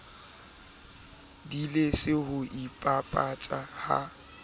di lese ho ipapatsa ha